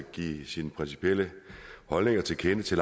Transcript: give sine principielle holdninger til kende til